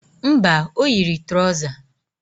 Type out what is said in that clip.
Mba, o yiri trọza